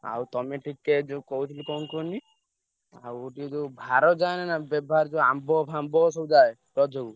ଆଉ ତମେ ଟିକେ ଯୋଉ କହୁଥିଲି କଣ କୁହନି ଆଉ ଗୋଟିଏ ଯୋଉ ଭାର ଯାଏନି ନା ବେଭାର ଯୋଉ ଆମ୍ବ ଫାମ୍ବ ସବୁ ଯାଏ ରଜକୁ?